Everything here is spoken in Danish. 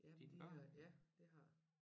Ja de øh ja det har jeg